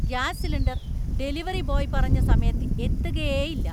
Gas cylinder delivery boy പറഞ്ഞ സമയത്ത് എത്തുകേയില്ല.